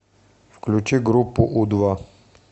включи группу у два